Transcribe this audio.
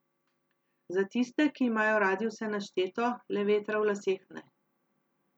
Za tiste, ki imajo radi vse našteto, le vetra v laseh ne.